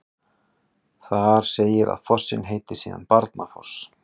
Þar segir að fossinn heiti síðan Barnafoss.